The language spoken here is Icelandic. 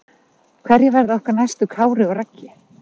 Hverjir verða okkar næstu Kári og Raggi?